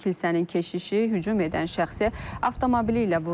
Kilsənin keşişi hücum edən şəxsə avtomobili ilə vurub.